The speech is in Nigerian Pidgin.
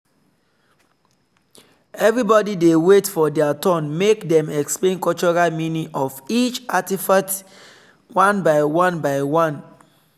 everybody wait for their turn make dem explain cultural meaning of each artifact one by one by one.